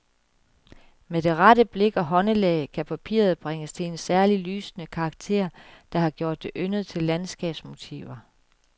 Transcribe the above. Med det rette blik og håndelag kan papiret bringes til en særlig lysende karakter, der har gjort det yndet til landskabsmotiver.